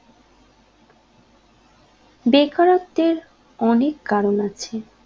বেকারত্বের অনেক কারণ আছে